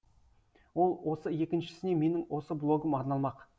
ол осы екіншісіне менің осы блогым арналмақ